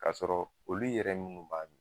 K'a sɔrɔ olu yɛrɛ minnu b'a min